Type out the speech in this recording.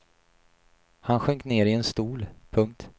Han sjönk ner i en stol. punkt